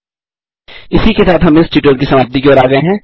इसी के साथ हम इस ट्यूटोरियल की समाप्ति की ओर आ गये हैं